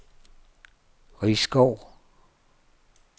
Risskov